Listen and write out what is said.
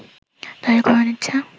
তৈরী করে নিচ্ছে